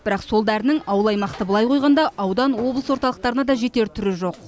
бірақ сол дәрінің ауыл аймақты былай қойғанда аудан облыс орталықтарына да жетер түрі жоқ